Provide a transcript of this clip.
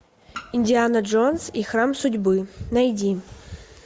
индиана джонс и храм судьбы найди